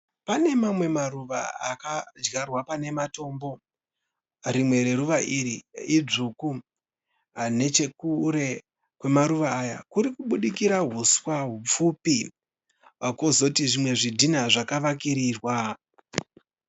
Pane mamwe maruva akadyarwa pane matombo. Rimwe reruva iri idzvuku. Nechekure kwemaruva aya kurikubudikira huswa hupfupi kwozoti zvimwe zvidhina zvakavakirirwa.